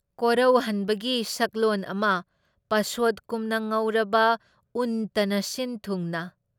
ꯀꯣꯔꯧꯍꯟꯕꯒꯤ ꯁꯛꯂꯣꯟ ꯑꯃ ꯄꯁꯣꯠꯀꯨꯝ ꯉꯧꯔꯕ ꯎꯟꯇꯅ ꯁꯤꯟꯊꯨꯡꯅ